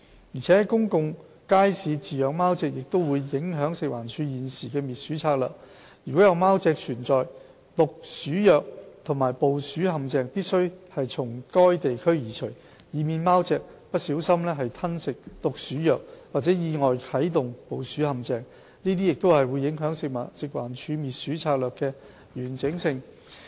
而且，在公眾街市飼養貓隻也會影響食環署現時的滅鼠策略：如果有貓隻存在，毒鼠藥和捕鼠陷阱必須從該地區移除，以免貓隻不小心吞食毒鼠藥或意外啟動捕鼠陷阱，這樣將影響食環署滅鼠策略的完整性。